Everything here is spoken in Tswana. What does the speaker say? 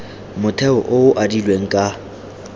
motheo o o adilweng ka